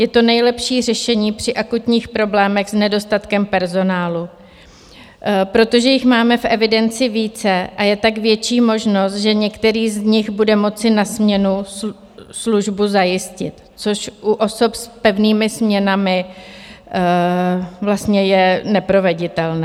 Je to nejlepší řešení při akutních problémech s nedostatkem personálu, protože jich máme v evidenci více a je tak větší možnost, že některý z nich bude moci na směnu službu zajistit, což u osob s pevnými směnami je neproveditelné.